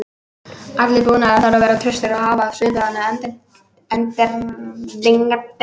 Allur búnaður þarf að vera traustur og hafa svipaðan endingartíma.